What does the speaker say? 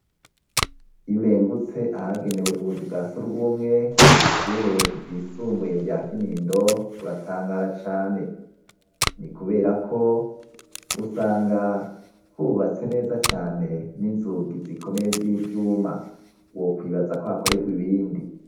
Iyo urengutse ahagenewe ubuzu bwa surwumwe kw' ishure ryisumbuye rya Kinindo uratangara cane. Ni kubera ko usanga hubatse neza cane, n'inzugi zikomeye z'ivyuma; wokwibaza ko hakorerwa ibindi.